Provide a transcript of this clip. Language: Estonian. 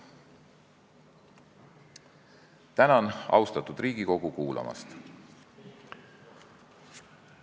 Tänan, austatud Riigikogu, kuulamast!